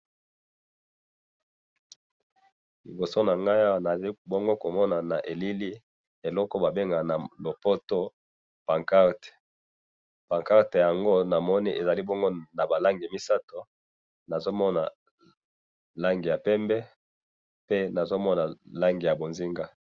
liboso na ngai awa nazali bongo komona na elili, eloko oyo ba bengaka na lopoto pancarte, pancarte yango namoni ezali bongo na ba langi misato, nazo mona langi ya pembe pe nazo mona langi ya bonzenga